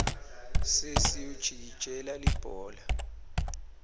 sesi ujikijela libhola